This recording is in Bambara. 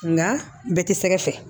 Nka bɛɛ ti sɛgɛ fɛ